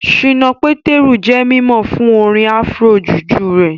Ṣínà Pétérù jẹ́ mímọ̀ fún orin Afro-juju rẹ̀